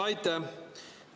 Aitäh!